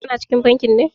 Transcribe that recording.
Ka na cikin bankin ne?